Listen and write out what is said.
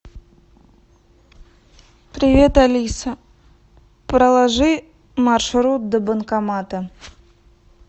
привет алиса проложи маршрут до банкомата